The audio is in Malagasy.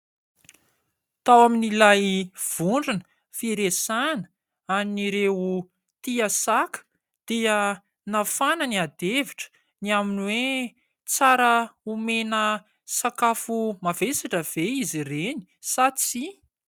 Tao amin'ilay vondrona firesahana an'ireo tia saka dia nafana ny ady hevitra ny amin'ny hoe : tsara omena sakafo mavesatra ve izy ireny, sa tsia ?